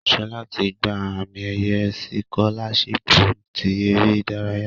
Shola ti gba ami-eye sikolashipu ti ere idaraya